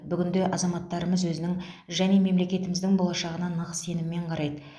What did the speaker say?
бүгінде азаматтарымыз өзінің және мемлекетіміздің болашағына нық сеніммен қарайды